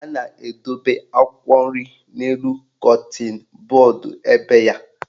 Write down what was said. A na-edobe akwụkwọ nri n'elu kọtịn bọọdụ ebe ya.